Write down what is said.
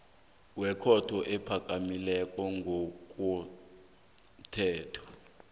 wekhotho ephakemeko ngokomthetho